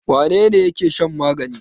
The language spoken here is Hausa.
Wane ne yake shan magani?